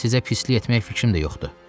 Sizə pislik etmək fikrim də yoxdur.